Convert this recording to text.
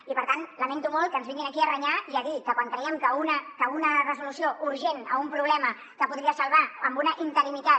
i per tant lamento molt que ens vinguin aquí a renyar i a dir quan creiem que una resolució urgent a un problema que es podria salvar amb una interinitat